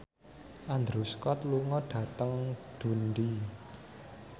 Andrew Scott lunga dhateng Dundee